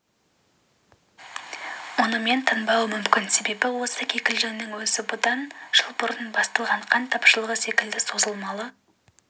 мұнымен тынбауы мүмкін себебі осы кикілжіңнің өзі бұдан жыл бұрын басталған қант тапшылығы секілді созылмалы